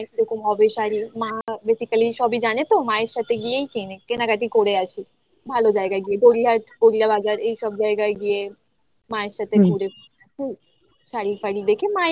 কি রকম হবে শাড়ি মা basically সবই জানে তো মায়ের সাথে গিয়েই কেনে কেনাকাটি করে আসি ভালো জায়গায় গিয়ে গড়িয়াহাট গড়িয়া বাজার এইসব জায়গায় গিয়ে মা এর সাথে ঘুরে শাড়ি ফাড়ি দেখে মাই